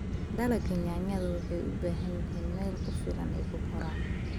Dalagyada yaanyada waxay u baahan yihiin meel ku filan oo ay ku koraan.